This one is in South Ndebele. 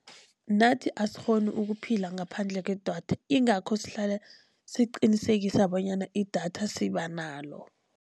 Nathi asikghoni ukuphila ngaphandle kwedatha, ingakho sihlala siqinisekisa bonyana idatha siba nalo.